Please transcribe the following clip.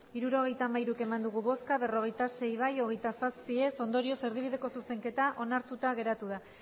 hirurogeita hamairu eman dugu bozka berrogeita sei bai hogeita zazpi ez ondorioz erdibideko zuzenketa onartuta geratu da